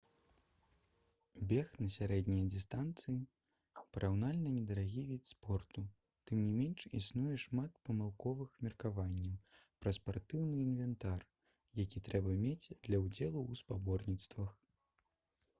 бег на сярэднія дыстанцыі параўнальна недарагі від спорту тым не менш існуе шмат памылковых меркаванняў пра спартыўны інвентар які трэба мець для ўдзелу ў спаборніцтвах